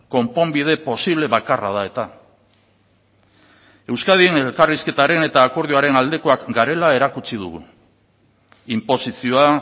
konponbide posible bakarra da eta euskadin elkarrizketaren eta akordioaren aldekoak garela erakutsi dugu inposizioa